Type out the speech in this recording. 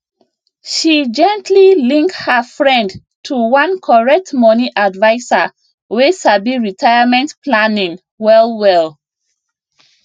she gently link her friend to one correct money adviser wey sabi retirement planning wellwell